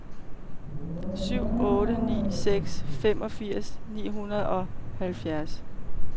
syv otte ni seks femogfirs ni hundrede og halvfjerds